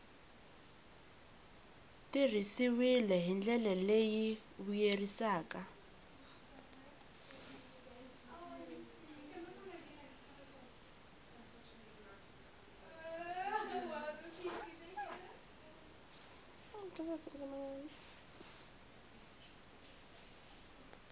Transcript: tirhisiwile hi ndlela leyi vuyerisaka